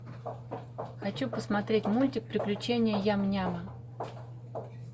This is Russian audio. хочу посмотреть мультик приключения ям няма